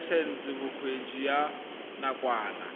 laesense ya bokgweetsi ya nakwana